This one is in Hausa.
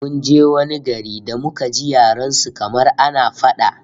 Mun je wani gari da muka ji yaren su kamar ana fada!